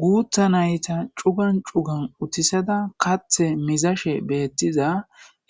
guutha nayta cugan cugan utisada kathe mizashe beettiza